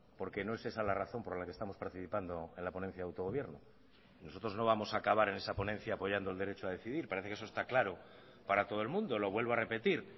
porque no es esa la razón por la que estamos participando en la ponencia de autogobierno nosotros no vamos a acabar en esa ponencia apoyando el derecho a decidir parece que eso está claro para todo el mundo lo vuelvo a repetir